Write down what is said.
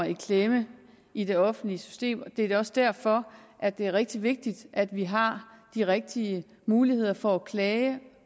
i klemme i det offentlige system det er også derfor at det er rigtig vigtigt at vi har de rigtige muligheder for at klage